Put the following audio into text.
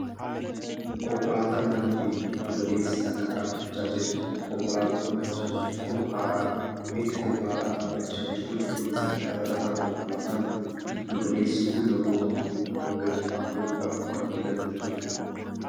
Konkolaataan nama feetu giddu galeessi takka dhaabbcahaa jirti. Kankolaataan mul'achaa jirtu kun haaraadha. Bifti konkolaataa dhaabbachaa jirtuu cuquliisadha. Dabalataan, Konkolaataan giddu galeessi kun namoota afurii hanaga ja'aa fe'uudhaaf kan tajaajiltuudha.